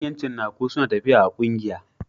Manyan cinnaku sunatafiya a kungiya